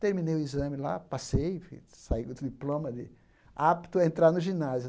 Terminei o exame lá, passei, enfim saí com o diploma de apto a entrar no ginásio.